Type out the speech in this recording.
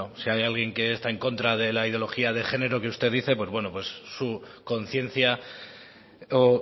bueno si hay alguien que está en contra de la ideología de género que usted dice pues bueno su conciencia o